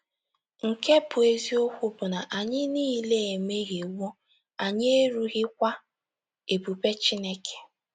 Nke bụ́ eziokwu bụ na anyị niile ‘ emehiewo, anyị erughikwa ebube Chineke. ’